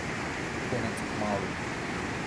Konec kmalu.